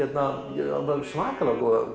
ég á svakalega